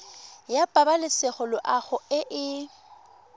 ya pabalesego loago e e